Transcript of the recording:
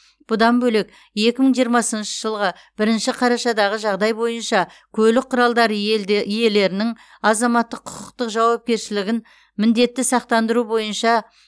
бұдан бөлек екі мың жиырмасыншы жылғы бірінші қарашадағы жағдай бойынша көлік құралдары елде иелерінің азаматтық құқықтық жауапкершілігін міндетті сақтандыру бойынша